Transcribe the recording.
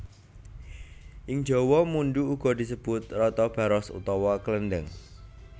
Ing jawa mundhu uga disebut rata baros utawa klendheng